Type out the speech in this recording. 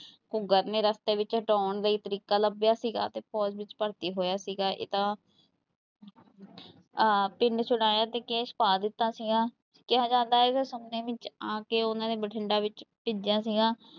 ਨੇ ਰਸਤੇ ਵਿੱਚ ਹਟਾਉਣ ਲਈ ਤਰੀਕਾ ਲੱਭਿਆ ਸੀਗਾ ਤੇ ਫ਼ੋਜ ਵਿੱਚ ਭਰਤੀ ਹੋਇਆ ਸੀਗਾ ਇਹ ਤਾਂ ਆਹ ਪਿੰਡ ਛੁੜਾਇਆ ਤੇ ਕੇਸ ਪਾ ਦਿੱਤਾ ਸੀਗਾ ਕਿਹਾ ਜਾਂਦਾ ਹੈ ਕਿ ਵਿੱਚ ਆ ਕੇ ਉਹਨਾਂ ਨੇ ਬਠਿੰਢਾ ਵਿੱਚ ਭੇਜਿਆ ਸੀਗਾ।